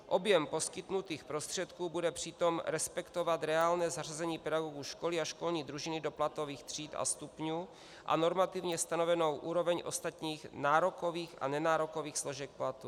Objem poskytnutých prostředků bude přitom respektovat reálné zařazení pedagogů školy a školní družiny do platových tříd a stupňů a normativně stanovenou úroveň ostatních nárokových a nenárokových složek platu.